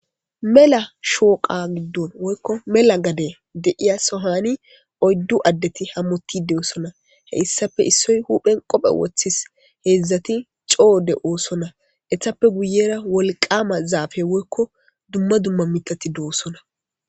mela shooqa giddon woykko mela gade deiya sohani oyddu addeti hammotide oosona he issafe issoy huphen qophe woththis heedzdzati coode oossonna ehappe guyera wolqama zaafe woykko dumma dumma mitati doossonna